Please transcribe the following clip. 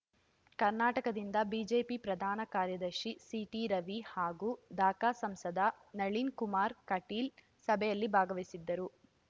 ಕರ್ನಾಟಕದಿಂದ ಬಿಜೆಪಿ ಪ್ರಧಾನ ಕಾರ್ಯದರ್ಶಿ ಸಿಟಿರವಿ ಹಾಗೂ ದಕ ಸಂಸದ ನಳಿನ್‌ ಕುಮಾರ್‌ ಕಟೀಲ್‌ ಸಭೆಯಲ್ಲಿ ಭಾಗವಹಿಸಿದ್ದರು